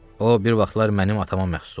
O bir vaxtlar mənim atama məxsus olub.